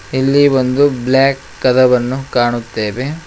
ಇಲ್ಲಿ ಒಂದು ಬ್ಲಾಕ್ ಕದವನ್ನು ಕಾಣುತ್ತೇವೆ.